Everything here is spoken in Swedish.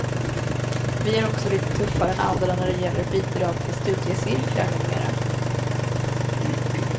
Vi är också lite tuffare än andra när det gäller bidrag till studiecirklar med mera.